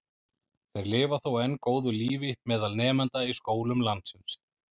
Þeir lifa þó enn góðu lífi meðal nemenda í skólum landsins.